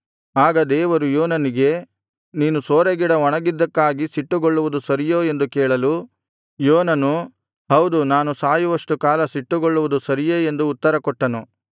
ಆಗ ದೇವರು ಯೋನನಿಗೆ ನೀನು ಸೋರೆಗಿಡ ಒಣಗಿದ್ದಕ್ಕಾಗಿ ಸಿಟ್ಟುಗೊಳ್ಳುವುದು ಸರಿಯೋ ಎಂದು ಕೇಳಲು ಯೋನನು ಹೌದು ನಾನು ಸಾಯುವಷ್ಟು ಕಾಲ ಸಿಟ್ಟುಗೊಳ್ಳುವುದು ಸರಿಯೇ ಎಂದು ಉತ್ತರಕೊಟ್ಟನು